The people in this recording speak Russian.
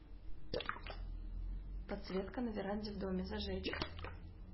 подсветка на веранде в доме зажечь